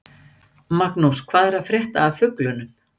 Magnús: Hvað er að frétta af fuglinum?